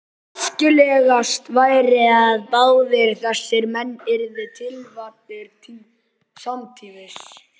Æskilegast væri, að báðir þessir menn yrðu tilkvaddir samtímis.